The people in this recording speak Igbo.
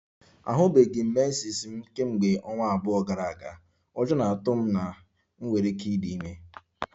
Ahụbeghị m menses m kemgbe ọnwa abụọ gara aga, ụjọ na-atụ m na m nwere ike ịdị ime